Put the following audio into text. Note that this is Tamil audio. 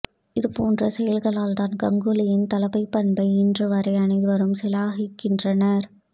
இதுபோன்ற செயல்களால்தான் கங்குலியின் தலைமைப் பண்பை இன்றுவரை அனைவரும் சிலாகிக்கின்றனர்